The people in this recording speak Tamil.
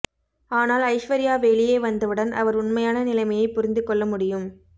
ஆனால் ஐஸ்வர்யா வெளியே வந்தவுடன் அவர் உண்மையான நிலைமையை புரிந்து கொள்ள முடியும்